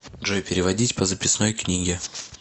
джой переводить по записной книге